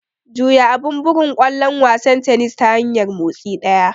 Juya abun bugun ƙwallon wasan tennis ta hanyar motsi ɗaya.